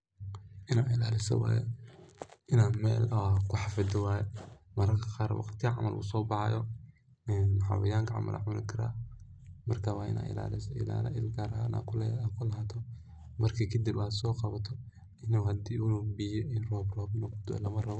Inaad ilaliso waye ,inaad mel kuhafido waye mararka qaar waqtiyahan camal uu sobahayo ,xawayanka camal aa cuni karaa marka waa inaa ilaliso, ilala gaar aad u lahato ,marki kadib aad so qawato biya iyo inu rob rob kudaco lamarabo.